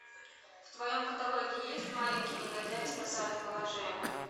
в твоем каталоге есть маленькие негодяи спасают положение